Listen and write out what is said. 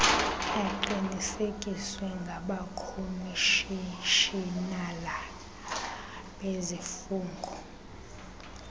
aqinisekiswe ngabakhomishinala bezifungo